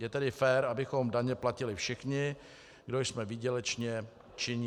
Je tedy fér, abychom daně platili všichni, kdo jsme výdělečně činní.